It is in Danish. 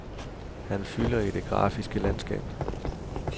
Han fylder i det grafiske landskab.